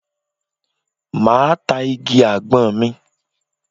Máa ta igi àgbọn mi.